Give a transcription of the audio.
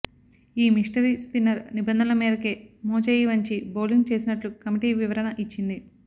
ఈ mystery spinner నిబంధనల మేరకే మోచేయి వంచి బౌలింగ్ చేసినట్లు కమిటీ వివరణ ఇచ్చింది